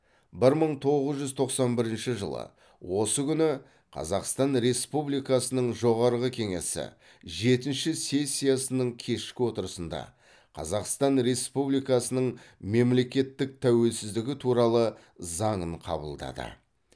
бір мың тоғыз жүз тоқсан бірінші жылы осы күні қазақстан республикасының жоғарғы кеңесі жетінші сессиясының кешкі отырысында қазақстан республикасының мемлекеттік тәуелсіздігі туралы заңын қабылдады